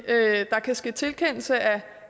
jeg at der kan ske tilkendelse